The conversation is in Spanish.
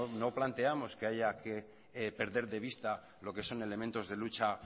no planteamos que haya que perder de vista lo que son elementos de lucha